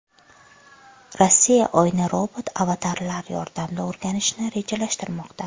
Rossiya Oyni robot-avatarlar yordamida o‘rganishni rejalashtirmoqda.